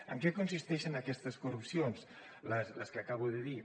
en què consisteixen aquestes corrupcions les que acabo de dir